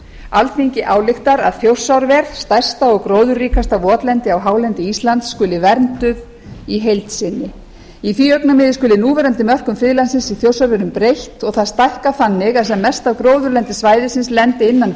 alþingi ályktar að þjórsárver stærsta og gróðurríkasta votlendi á hálendi íslands skuli vernduð í heild sinni í því augnamiði skuli núverandi mörkum friðlandsins í þjórsárverum breytt og það stækkað þannig að sem mest af gróðurlendi svæðisins lendi innan